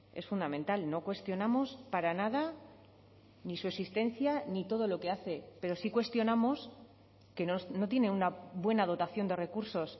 es fundamental no cuestionamos para nada ni su existencia ni todo lo que hace pero sí cuestionamos que no tiene una buena dotación de recursos